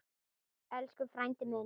Elsku frændi minn.